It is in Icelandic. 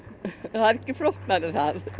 það er ekki flóknara en það